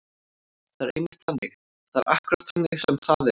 Það er einmitt þannig. það er akkúrat þannig sem það er.